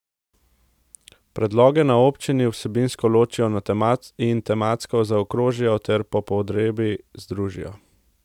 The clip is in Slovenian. Predloge na občini vsebinsko ločijo in tematsko zaokrožijo ter po potrebi združijo.